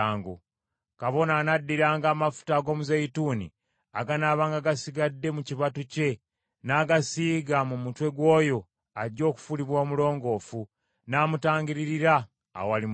Kabona anaddiranga amafuta ag’omuzeeyituuni aganaabanga gasigadde mu kibatu kye n’agasiiga mu mutwe gw’oyo ajja okufuulibwa omulongoofu, n’amutangiririra awali Mukama .